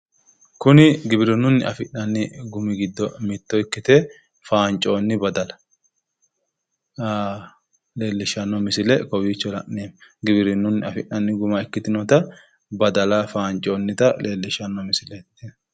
Kuni giwirinnungiwirinnunni afi'nanni gumi giddo mitto ikkite faancoonni badala leellishshanno misile kowiicho la'neemmo. Giwirinnunni afi'nanni guma ikkitinota badala faancoonnita leellishshanno misileeti tini.